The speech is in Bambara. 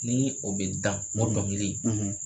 Ni o bɛ da, o dɔnkili